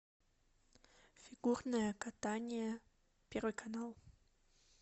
фигурное катание первый канал